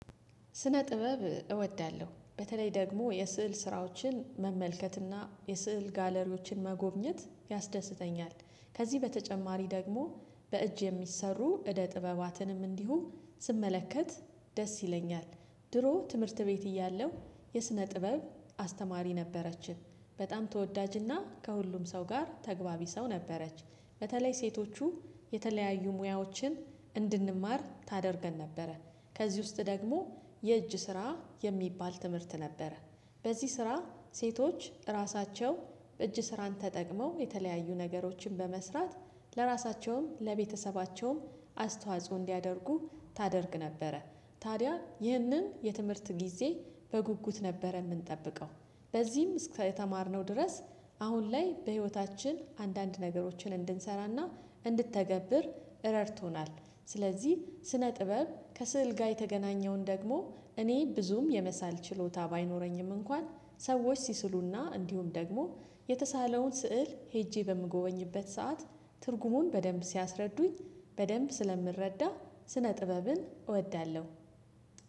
ስነ ጥበብ እወዳለሁ በተለይ ደግሞ የስዕል ስራዎችን መመልከትና የስዕል ጋለሪዎችን መጎብኘት ያስደስተኛል። ከዚህ በተጨማሪ ደግሞ በእጅ የሚሰሩ እደ ጥበባትንም እንዲሁ ስመለከት ደስ ይለኛል። ድሮ ትምህርት ቤት እያለው የስነ ጥበብ አስተማሪ ነበረችን በጣም ተወዳጅና ከሁሉም ሰው ጋር ተግባቢ ሰው ነበረች። በተለይ ሴቶቹ የተለያዩ ሙያዎችን እንድንማር ታደርገን ነበረ። ከዚህ ውስጥ ደግሞ የእጅ ስራ የሚባል ትምህርት ነበረ። በዚህ ስራ ሴቶች ራሳቸው እጅ ስራን ተጠቅመው የተለያዩ ነገሮችን በመስራት ለራሳቸውም ለቤተሰባቸውም አስተዋጽኦ እንዲያደርጉ ታደርግ ነበረ። ታዲያ ይህንን የትምህርት ጊዜ በጉጉት ነበረ ምንጠብቀው። በዚህም እስከተማር ነው ድረስ አሁን ላይ በሂወታችን አንዳንድ ነገሮችን እንድንሰራና እንድተገብር ረድቶናል። ስለዚህ ስነ ጥበብ ከስዕል ጋ የተገናኘውን ደግሞ እኔ ብዙም የመሳል ችሎታ ባይኖረኝም እንኳን ሰዎች ሲስሉና እንዲሁም ደግሞ የተሳለውን ስዕል ሄጄ በምጎበኝበት ሰዓት ትርጉሙን በደንብ ሲያስረዱኝ በደንብ ስለምረዳ። ስነ ጥበብን እወዳለሁ